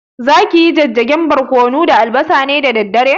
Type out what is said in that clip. Zaki yi jijjigen barƙwano da albasa ne da dare?